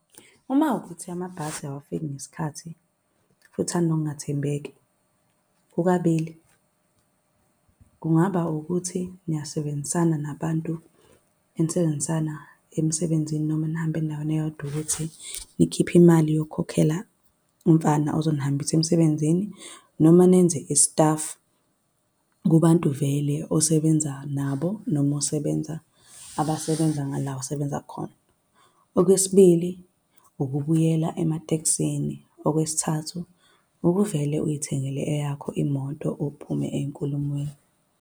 Uma kuwukuthi amabhasi awafiki ngesikhathi, futhi anokungathembeki, kukabili, kungaba ukuthi niyasebenzisana nabantu enisebenzisana emsebenzini, noma enihambe endaweni eyodwa ukuthi nikhiphe imali yokukhokhela umfana ozonihambisa emsebenzini, noma nenze i-staff kubantu vele osebenza nabo, noma osebenza, abasebenza ngala osebenza khona. Okwesibili, ukubuyela ematekisini. Okwesithathu, ukuvele uy'thengele eyakho imoto, uphume ey'nkulumweni.